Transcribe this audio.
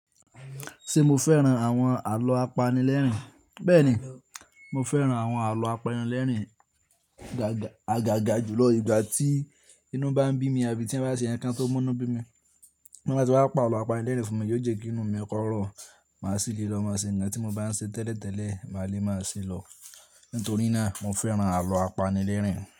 Ṣé mo fẹ́ran àwọn àlọ́ apanilẹ́rìn? Bẹ́ẹ̀ni, mo fẹ́ran àwọn àlọ́ apanilẹ́rìn. Agaga júlọ ìgbà tí inú bá ń bí mi àbí tí ń bá ṣe ǹkan tó múnú bí mi. Nígbà tí wọ́n bá pa àlọ́ apanilẹ́rìn fún mi yóò jẹ́ kí inú mi rọ, máa sì lè lọ máa ṣe ǹkan tí mo bá ń ṣe tẹ́lẹ̀tẹ́lẹ̀, màá le máa ṣe lọ. Nítorí náà mo fẹ́ran àlọ́ apanilẹ́rìn.